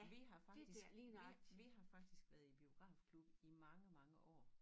Vi har faktisk vi vi har faktisk været i biografklub i mange mange år